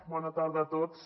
bona tarda a tots